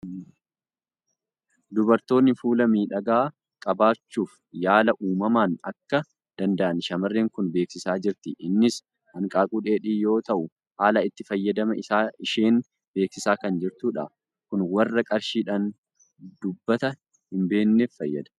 Dubartoonni fuula miidhagaa qabaachuuf yaala uumamaan akka danda'an shamarreen kun beeksisaa jirti. Innis hanqaaquu dheedhii yoo ta'u, haala itti fayyadama isaa isheen beeksisaa kan jirtudha. Kun warra qarshiidhaan dubata hin binneef fayyada!